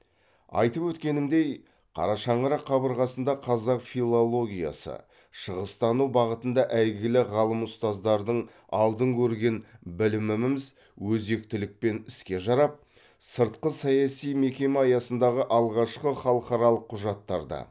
айтып өткенімдей қара шаңырақ қабырғасында қазақ филологиясы шығыстану бағытында әйгілі ғалым ұстаздардың алдын көрген біліміміз өзектілікпен іске жарап сыртқысаяси мекеме аясындағы алғашқы халықаралық құжаттарды